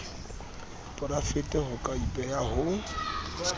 porafete ho ka ipehwa ho